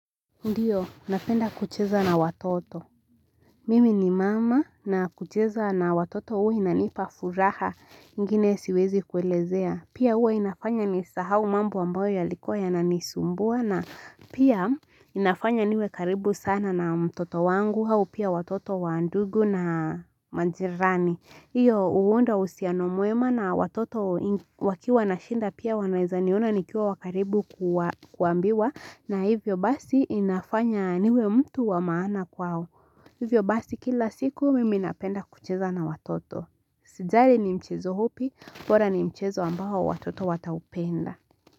Ndio, napenda kucheza na watoto. Mimi ni mama na kucheza na watoto hua inanipa furaha ingine siwezi kuelezea. Pia hua inafanya nisahau mambo ambayo yalikua yananisumbua na pia inafanya niwe karibu sana na mtoto wangu au pia watoto waandugu na majirani. Hio huunda usianomwema na watoto wakiwa na shinda pia wanaeza niona nikiwa wa karibu kuambiwa na hivyo basi inafanya niwe mtu wa maana kwao. Hivyo basi kila siku mimi napenda kucheza na watoto. Sijali ni mchezo upi, bora ni mchezo ambao watoto wataupenda.